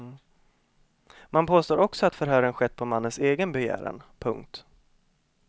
Man påstår också att förhören skett på mannens egen begäran. punkt